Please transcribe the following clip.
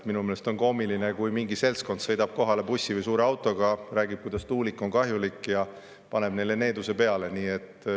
Minu meelest on koomiline, kui mingi seltskond sõidab kohale bussi või suure autoga, räägib, kuidas tuulik on kahjulik, ja paneb neile needuse peale.